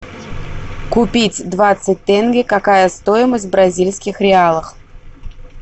купить двадцать тенге какая стоимость в бразильских реалах